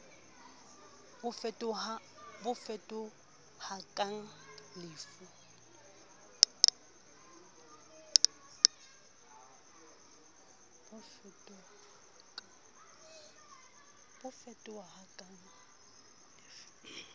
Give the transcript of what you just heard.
bo fetohakang le f ho